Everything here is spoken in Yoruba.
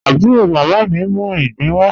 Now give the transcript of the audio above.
Abúró mámá mí n mú igbin wà.